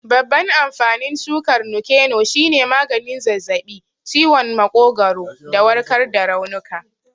Babban amfanin shukar Nuke-noh shine maganin zazzabi, ciwon makogwaro, da warkar da raunuka.